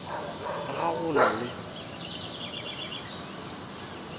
re ga go na le